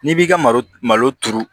N'i b'i ka malo malo turu